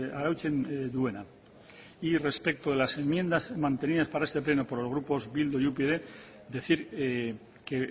arautzen duena y respecto de las enmiendas mantenidas para este pleno por los grupos bildu y upyd decir que